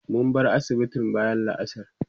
mun bar asibitin bayan la'asar